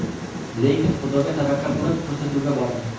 Lekin Xudoga tavakkal qilib, ko‘rsatuvga bordim.